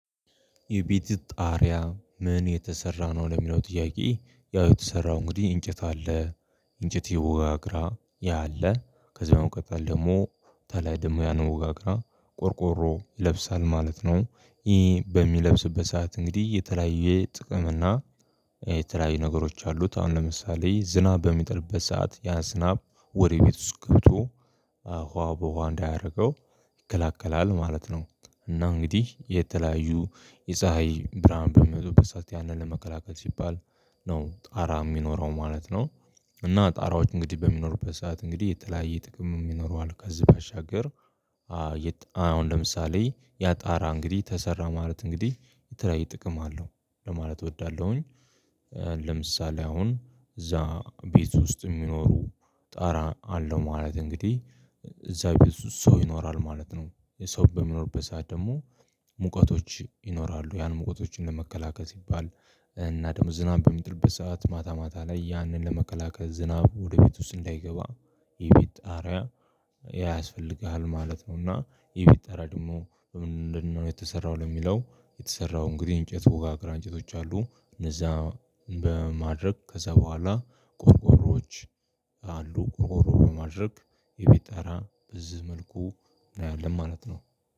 የቤት ጣሪያ ምን የተሰራ ነው ለሚለው ጥያቄ? ያው የተሰራው እንግዲህ እንጨት አለ እንጨት ወጋግራ ያለ ከዛው ቀጠል ደግሞ ተላይ ደግሞ ያን ወጋግራ ቆርቆሮ ይለብሳል ማለት ነው። ይህ በሚለብስበት ሰዓት እንግዲህ የተለያየ ጥቅም እና የተለያየ ነገሮች አሉት አሁን ለምሳሌ ዝናብ በሚጥልበት ሰዓት ያ ዝናብ ወደ ቤት ውስጥ ገብቶ ውሃ በውሃ እንዳያደርገው ይከላከላል ማለት ነው። እና እንግዲህ የተለያዩ የፀሀይ ብርሃን በመቶ በሰአት ያንን ለመከላከል ሲባል ነው ጣራ የሚኖረው ማለት ነው። እና ጣራዎች እንግዲህ በሚኖሩበት ሰዓት እንግዲህ የተለያየ ጥቅም የሚኖሯል ከዚህ ባሻገር። አሁን ለምሳሌ ያ ጣራ እንግዲህ ተሰራ ማለት እንግዲህ የተለያየ ጥቅም አለው ለማለት እወዳለሁኝ። ለምሳሌ አሁን እዛ ቤት ውስጥ የሚኖሩ ጣራ አለው ማለት እንግዲህ እዛ ቤት ውስጥ ሰው ይኖራል ማለት ነው። ሰው በሚኖርበት ሰዓት ደግሞ ሙቀቶች ይኖራሉ ያን መቀቶችን ለመከላከል ሲባል እና ደግሞ ዝናብ በሚጥልበት ሰዓት ማታ ማታ ላይ ያንን ለመከላከል ዝናብ ወደ ቤት ውስጥ እንዳይገባ የቤት ጣርያ ያስፈልግሃል ማለት ነውና። የቤት ጣርያ ደግሞ በምንድነው የተሰራው ለሚለው? የተሰራው እንግዲህ እንጨት ውጋግራ እንጨቶች አሉ እነዛ በማድረግ ከዛ በኋላ ቆርቆሮዎች አሉ ቆርቆሮ በማድረግ የቤት ጣራ በዝህ መልኩ እናያለን ማለት ነው